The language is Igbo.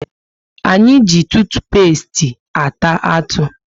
Anyị ji tutupesti ata atụ